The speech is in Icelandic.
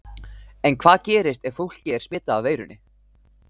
En hvað gerist ef fólkið er smitað af veirunni?